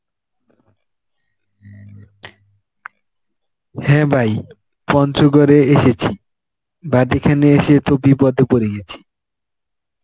হ্যাঁ ভাই পঞ্চগড়ে এসেছি but এখানে এসে তো বিপদে পড়ে গেছি.